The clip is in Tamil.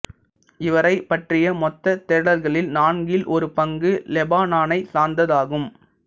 இவரைப் பற்றிய மொத்தத் தேடல்களில் நான்கில் ஒரு பங்கு லெபனானைச் சார்ந்ததாகும்